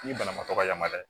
Ni banabaatɔ yamaruya